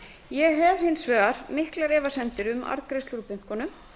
ég hef hins vegar miklar efasemdir um arðgreiðslu úr bönkunum